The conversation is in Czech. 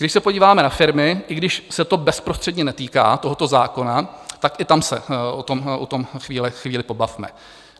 Když se podíváme na firmy, i když se to bezprostředně netýká tohoto zákona, tak i tam se o tom chvíli pobavme.